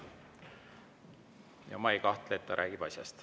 Ja ma ei kahtle, et ta räägib asjast.